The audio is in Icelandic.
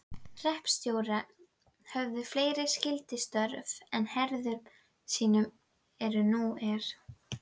Hreppstjórar höfðu fleiri skyldustörf á herðum sínum en nú er.